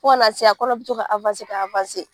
Fo ka na se yan a kɔnɔ bɛ to ka ka